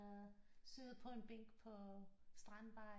Sidder på en bænk på strandbar